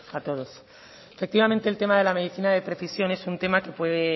a todos efectivamente el tema de la medicina de precisión es un tema que puede